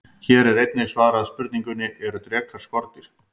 Hér er einnig svarað spurningunni: Eru drekar skordýr?